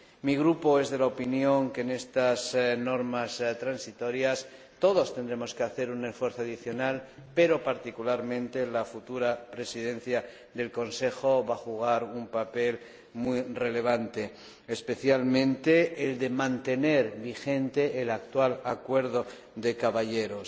Mi Grupo es de la opinión de que, respecto de estas normas transitorias, todos tendremos que hacer un esfuerzo adicional, pero particularmente la futura Presidencia del Consejo va a desempeñar un papel muy relevante, especialmente el de mantener vigente el actual acuerdo de caballeros.